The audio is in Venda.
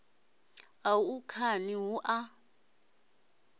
u ṱaṱa khani hu a